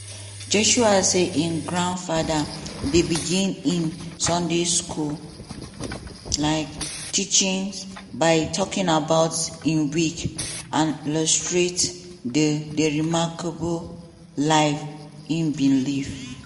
joshua say im grandfather dey begin im sunday school um teachings by talking about im week - and illustrate di di remarkable life e bin live.